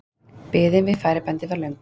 Biðin við færibandið var löng.